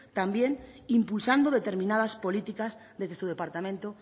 también impulsando determinadas políticas desde su departamento